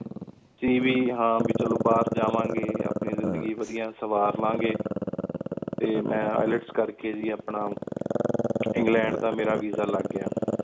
ਆ ਵੀ ਹਾਂ ਕ ਚਲੋ ਬਾਹਰ ਜਾਵਾਂ ਗੇ ਆਪਣੀ ਜ਼ਨ੍ਦਗੀ ਵਾਡਿਯਾ ਸੰਵਾਰ ਲਾਂ ਗੀ ਟੀ ਮੇਂ IELTS ਕਰ ਕ ਗੀ ਆਪਣਾ ਇੰਗ੍ਲੈੰਡ ਦਾ ਮੇਰਾ ਵੀਸਾ ਲਾਗ ਗਯਾ